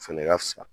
O fɛnɛ ka fisa